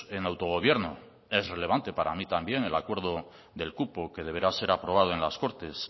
en autogobierno es relevante para mí también el acuerdo del cupo que deberá ser aprobado en las cortes